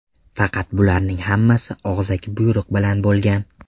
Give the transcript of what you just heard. Faqat bularning hammasi og‘zaki buyruq bilan bo‘lgan.